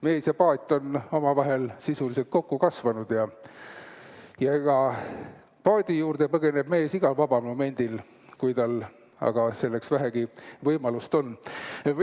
Mees ja paat on omavahel sisuliselt kokku kasvanud ja paadi juurde põgeneb mees igal vabal momendil, kui tal aga selleks vähegi võimalust on.